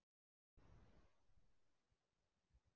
Langir vinnudagar?